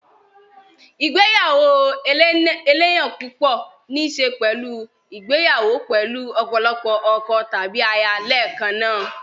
igbeyawo eleyan pupo ní í ṣe pẹ̀lú ìgbéyàwó pẹ̀lú ọ̀pọ̀lọpọ̀ ọkọ tàbí aya lẹ́ẹ̀kan náà.